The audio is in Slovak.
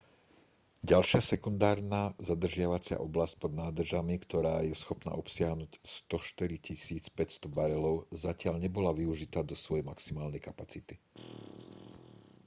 ďalšia sekundárna zadržiavacia oblasť pod nádržami ktorá je schopná obsiahnuť 104 500 barelov zatiaľ nebola využitá do svojej maximálnej kapacity